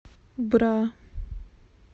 бра